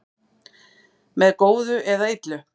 með góðu eða illu